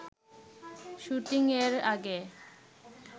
শুটিংয়ের আগে